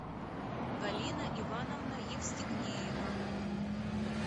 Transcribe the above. галина ивановна евстигнеева